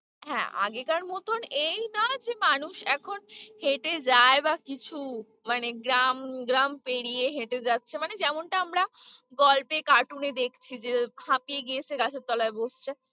হ্যাঁ, আগেকার মতোন এই নয় যে মানুষ এখন হেঁটে যায় বা কিছু মানে গ্রাম গ্রাম পেরিয়ে হেঁটে যাচ্ছে মানে যেমনটা আমরা গল্পে cartoon এ দেখছি যে হাঁপিয়ে গিয়েছে গাছের তলায় বসছে।